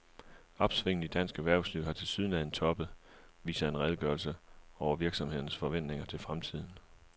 Opsvinget i dansk erhvervsliv har tilsyneladende toppet, viser en opgørelse over virksomhedernes forventninger til fremtiden.